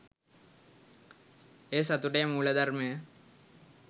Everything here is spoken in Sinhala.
එය සතුටේ මූලධර්මය